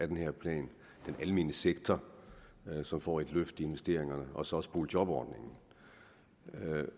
den her plan den almene sektor som får et løft investeringer og så også boligjobordningen man